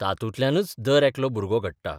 तातूंतल्यानच दरेकलो भुरगो घडटा.